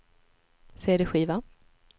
cd-skiva